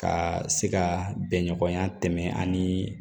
Ka se ka bɛn ɲɔgɔnya tɛmɛ ani